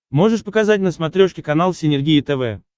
можешь показать на смотрешке канал синергия тв